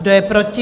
Kdo je proti?